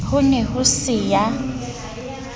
ho ne ho se ya